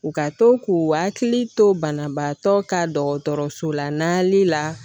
U ka to k'u hakili to banabagatɔ ka dɔgɔtɔrɔso la nali la